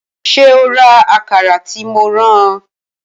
Ṣé o ra Àkàrà tí mo rán ọ